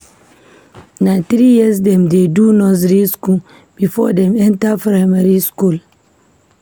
Na three years dem dey do nursery skool before dem enter primary skool.